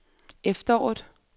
efteråret